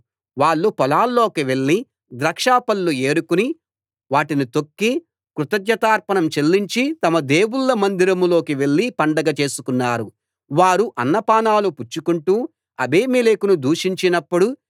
వాళ్ళు పొలాల్లోకి వెళ్లి ద్రాక్ష పళ్ళు ఏరుకుని వాటిని తొక్కి కృతజ్ఞతార్పణం చెల్లించి తమ దేవుళ్ళ మందిరంలోకి వెళ్లి పండగ చేసుకున్నారు వారు అన్నపానాలు పుచ్చుకొంటూ అబీమెలెకును దూషించినప్పుడు